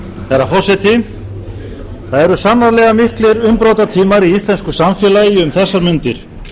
herra forseti það eru sannarlega miklir umbrotatímar í íslensku samfélagi um þessar mundir